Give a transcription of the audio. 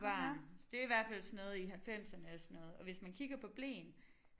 Barn det i hvert fald sådan noget i halvfemserne sådan noget og hvis man kigger på bleen